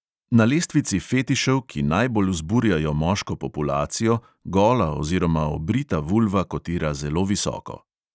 Na lestvici fetišev, ki najbolj vzburjajo moško populacijo, gola oziroma obrita vulva kotira zelo visoko.